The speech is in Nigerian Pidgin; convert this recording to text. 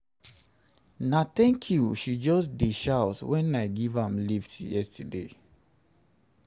dis girl kneel-down tell me tank you wen wen i give am moni.